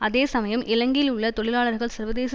அதே சமயம் இலங்கையில் உள்ள தொழிலாளர்கள் சர்வதேச